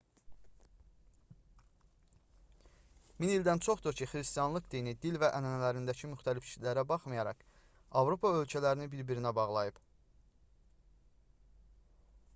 min ildən çoxdur ki xristianlıq dini dil və ənənələrindəki müxtəlifliklərə baxmayaraq avropa ölkələrini bir-birinə bağlayıb